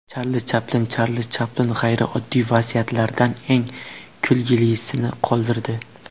Charli Chaplin Charli Chaplin g‘ayrioddiy vasiyatlardan eng kulgilisini qoldirdi.